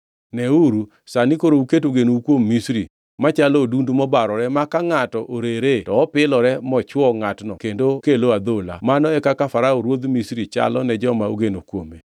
Neuru, sani koro uketo genou kuom Misri, machalo odundu mobarore ma ka ngʼato orere to opilore mochwo ngʼatno kendo kelo adhola! Mano e kaka Farao ruodh Misri chalo ne joma ogeno kuome.